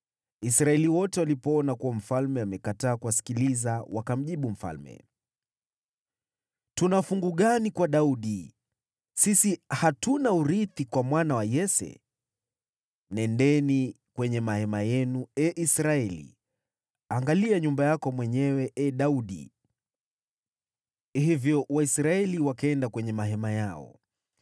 Israeli wote walipoona kuwa mfalme amekataa kuwasikiliza, wakamjibu mfalme: “Tuna fungu gani kwa Daudi? Sisi hatuna urithi kwa mwana wa Yese. Nendeni kwenye mahema yenu, ee Israeli! Angalia nyumba yako mwenyewe, ee Daudi!” Hivyo Waisraeli wakaenda kwenye mahema yao.